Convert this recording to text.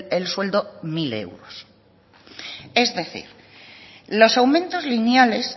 el sueldo mil euros es decir los aumentos lineales